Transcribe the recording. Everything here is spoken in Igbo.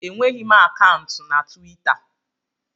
Enweghị m akaụntụ na Twita